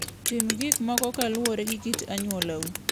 Tim gik moko kaluwore gi kit anyuolau.